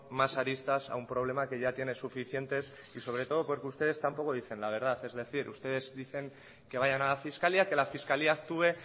más aristas a un problema que ya tiene suficientes y sobre todo porque ustedes tampoco dicen la verdad es decir ustedes dicen que vayan a la fiscalía que la fiscalía actúe